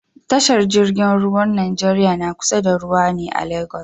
Tashar jingin ruwar nigeria na kusa da ruwa a lagos